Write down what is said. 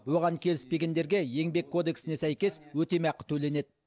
оған келіспегендерге еңбек кодексіне сәйкес өтемақы төленеді